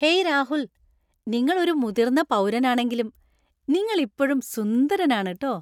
Hey Rahul, നിങ്ങൾ ഒരു മുതിർന്ന പൗരനാണെങ്കിലും , നിങ്ങൾ ഇപ്പോഴും സുന്ദരനാണ് ട്ടോ .